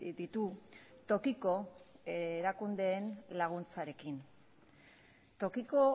ditu tokiko erakundeen laguntzarekin tokiko